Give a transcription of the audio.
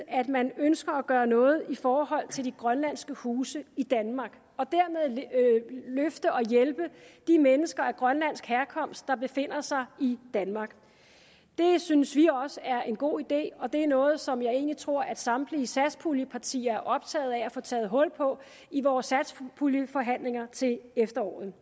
at man ønsker at gøre noget i forhold til de grønlandske huse i danmark og dermed løfte og hjælpe de mennesker af grønlandsk herkomst der befinder sig i danmark det synes vi også er en god idé og det er noget som jeg egentlig tror at samtlige satspuljepartier er optaget af at vi får taget hul på i vores satspuljeforhandlinger til efteråret